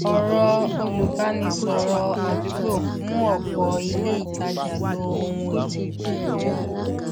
ọrọ olùbánisọrọ ádúgbò mú ọpọ ilé ìtajà lo ohun èlò ìbàjẹ